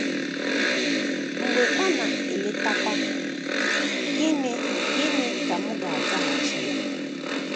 Mgbe Ọ na - eletakwa, gịnị gịnị ka m ga - azaghachi Ya? ”